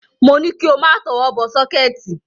Mo ní kí o má tọwọ́ bọ sọ́kẹ́ẹ̀tì.